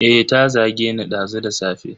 Eh, ta zageni dazu da safe.